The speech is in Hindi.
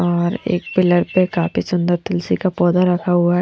और एक पिलर पे काफी सुंदर तुलसी का पौधा रखा हुआ--